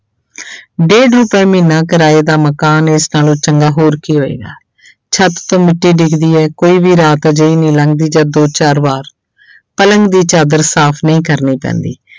ਡੇਢ ਰੁਪਏ ਮਹੀਨਾ ਕਿਰਾਏ ਦਾ ਮਕਾਨ ਇਸ ਨਾਲੋਂ ਚੰਗਾ ਹੋਰ ਕੀ ਹੋਏਗਾ ਛੱਤ ਤੋਂ ਮਿੱਟੀ ਡਿੱਗਦੀ ਹੈ ਕੋਈ ਵੀ ਰਾਤ ਅਜਿਹੀ ਨਹੀਂ ਲੰਘਦੀ ਜਦ ਦੋ ਚਾਰ ਵਾਰ ਪਲੰਘ ਦੀ ਚਾਦਰ ਸਾਫ਼ ਨਹੀਂ ਕਰਨੀ ਪੈਂਦੀ।